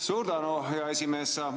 Suur tänu, hea esimees!